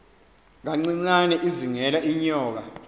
kancinane izingela iinyoka